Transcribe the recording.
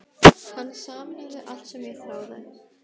Hann sameinaði allt sem ég þráði.